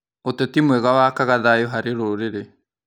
Ũteti mwega wakaga thayũ harĩ rũrĩrĩ.